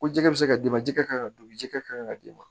Ko jɛgɛ bɛ se ka d'i ma ji ka kan ka don ji ka kan ka d'i ma